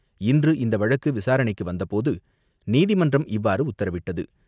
இன்று இந்த வழக்கு விசாரணைக்கு வந்தபோது நீதிமன்றம் இவ்வாறு உத்தரவிட்டது.